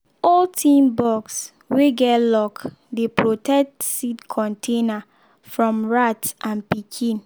old tin box wey get lock dey protect seed container from rat and pikin.